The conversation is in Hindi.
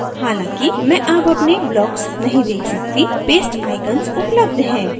हालांकि मैं अब अपने blocks नहीं देख सकती paste icons उपलब्ध हैं